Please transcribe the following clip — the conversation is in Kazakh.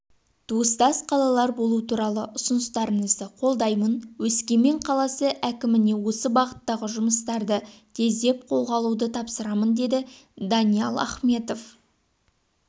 туыстас қалалар болу туралы ұсыныстарыңызды қолдаймын өскемен қаласы әкіміне осы бағыттағы жұмыстарды тездеп қолға алуды тапсырамын деді даниал ахметов